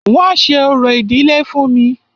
Wọ́n ṣe orò ìdílé fún mí.